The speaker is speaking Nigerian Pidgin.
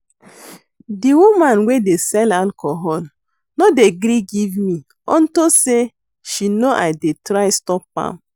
The woman wey dey sell alcohol no dey gree give me unto say she no I dey try stop am